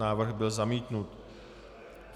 Návrh byl zamítnut.